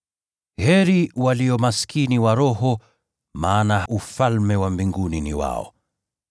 “Heri walio maskini wa roho, maana Ufalme wa Mbinguni ni wao.